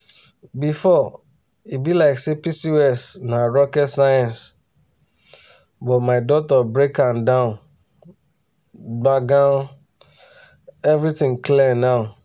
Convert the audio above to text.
before e be like say pcos na rocket science but my doctor break am down gbagam everything clear now.